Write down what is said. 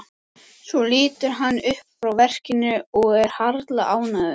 Svo lítur hann upp frá verkinu og er harla ánægður.